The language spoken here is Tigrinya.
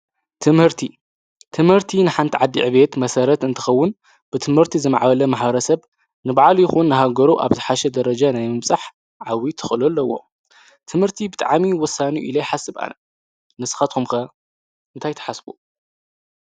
ትምህርቲ፡- ትምህርቲ ንሓንቲ ዓዲ ዕብየት መሰረት እንትኸውን ብትምህርቲ ዝማዕበለ ማሕበረ ሰብ ንባዕሉ ይኹን ኣብ ሃገሩ ኣብ ዝሓሸ ደረጃ ናይ ምብፃሕ ዓብይ ተኽእሎ ኣለዎ፡፡ ትምህርቲ ብጣዕሚ ዓብይ እዩ ኢለ ይሓስብ ኣነ፡፡ ንስካትኩም ኸ እንታይ ትሓስቡ?